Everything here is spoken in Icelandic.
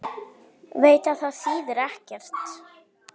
Veit að það þýðir ekkert.